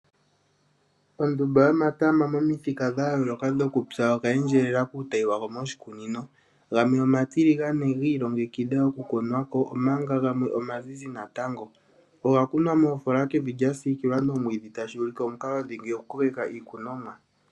Ondumba yomatama momithika dha yoolokathana mokupya oga endjelela kiitayi yago moshikunino. Gamwe omatiligane gi ilongekidha okutonwa ko go gamwe omazizi natango. Oga kunwa moofola kevi lya siikilwa nomwiidhi, tashi ulike omukalo dhingi okukokeka iikunomwa.